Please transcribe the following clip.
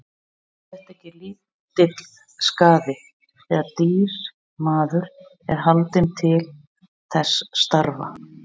Er þetta ekki lítill skaði, þegar dýr maður er haldinn til þess starfa.